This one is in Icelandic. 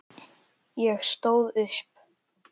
Ég stóð upp.